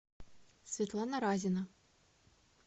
светлана разина